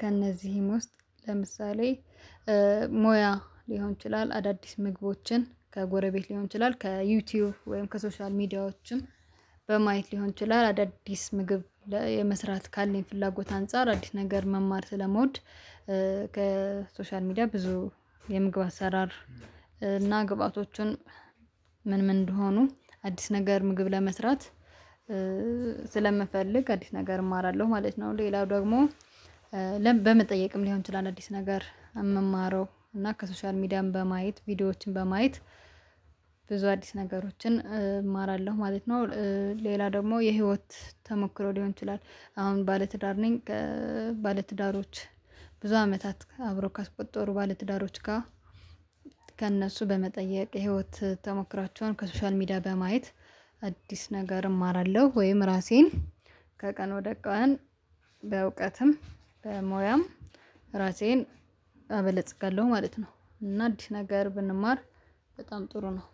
ከእነዚህም ውስጥ ለምሳሌ ሞያ ሊሆን ይችላል፤ አዳዲስ ምግቦችን ከጎረቤት ሊሆን ይችላል፤ ከዩቲዩብ ወይም ከሶሻል ሚዲያዎችም በማየት ሊሆን ይችላል፤ አዳዲስ ምግብ የመስራት ካለኝ ፍላጎት አንፃር አዲስ ነገር መማር ስለምውድ ከሶሻል ሚዲያ ብዙ የምግብ አሰራር እና ግብአቶቹን ምን ምን እንደሆኑ አዲስ ነገር ምግብ ለመስራት ስለምፈልግ አዲስ ነገር እማራለሁ ማለት ነው። ሌላው ደግሞ በመጠየቅም ሊሆን ይችላል አዲስ ነገር የምማረው እና ከሶሻል ሚዲያም በማየት ቪዲዮዎችን በማየት ብዙ አዲስ ነገሮችን እማራለሁ ማለት ነው። ሌላ ደግሞ የህይወት ተሞክሮ ሊሆን ይችላል አሁን ባለትዳር ነኝ ባለትዳሮች ብዙ አመታት አብሮ ካስቆጠሩ ባለትዳሮች ጋር ከእነሱ በመጠየቅ ህይወት ተሞክራቸውን ከሶሻል ሚዲያ በማየት አዲስ ነገር እማራለሁ ወይም ራሴን ከቀን ወደ ቀን በእውቀትም በሞያም ራሴን አበለጽጋለሁ ማለት ነው። እና እንዲህ ነገር ብንማር በጣም ጥሩ ነው።